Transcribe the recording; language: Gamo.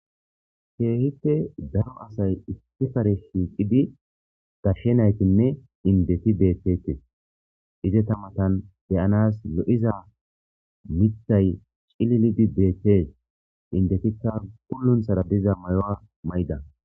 keehie daro asay istifare shiiqidi gashshenaytinne indeti deettete ize tamatan deyanas lo7iza mithay cililidi deette indetikka pulunthara diza mayuwaa mayida